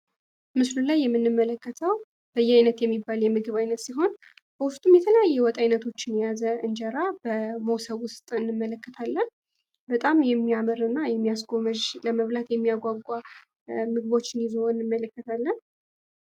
ምስሉ ላይ የምንመለከተው በየአይነት የሚባል የምግብ አይነት ሲሆን በውስጡ የተለያየ የወጥ አይነቶችን የያዘ እንጀራ በሞሰብ ውስጥ እንመለከታለን። በጣም የሚያምርና የሚያስጎመዥ ለመብላት የሚያጓጓ ምግቦችን ይዞ እንመለከታለን።